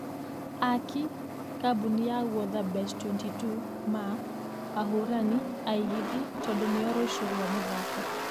Akĩ....kambũni ya guotha bet22 ma....ahũrani angĩĩthĩ tũndũ nĩo rũcio rwa mũthako.